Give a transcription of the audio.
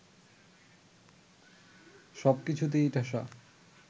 সবকিছুতেই ঠাসা